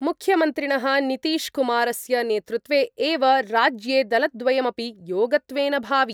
मुख्यमन्त्रिणः नीतीशकुमारस्य नेतृत्वे एव राज्ये दलद्वयमपि योगत्वेन भावि